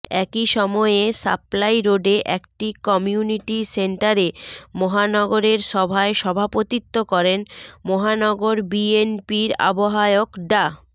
একই সময়ে সাপ্লাই রোডে একটি কমিনিউটি সেন্টারে মহানগরের সভায় সভাপতিত্ব করেন মহানগর বিএনপির আহ্বায়ক ডা